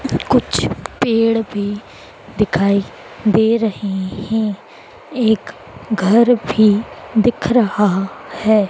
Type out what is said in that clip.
कुछ पेड़ भी दिखाई दे रहे हैं एक घर भी दिख रहा है।